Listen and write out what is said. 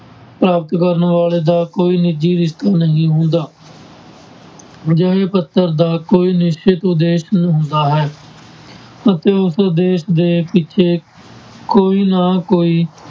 ਪ੍ਰਾਪਤ ਕਰਨ ਵਾਲੇ ਦਾ ਕੋਈ ਨਿੱਜੀ ਰਿਸ਼ਤਾ ਨਹੀਂ ਹੁੰਦਾ ਅਜਿਹੇ ਪੱਤਰ ਦਾ ਕੋਈ ਨਿਸ਼ਚਿਤ ਉਦੇਸ਼ ਹੁੰਦਾ ਹੈ ਅਤੇ ਉਸ ਉਦੇਸ ਦੇ ਪਿੱਛੇ ਕੋਈ ਨਾ ਕੋਈ